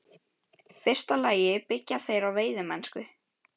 fyrsta lagi byggja þær á veiðimennsku.